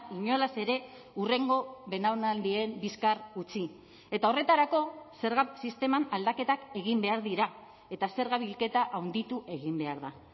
inolaz ere hurrengo belaunaldien bizkar utzi eta horretarako zerga sisteman aldaketak egin behar dira eta zerga bilketa handitu egin behar da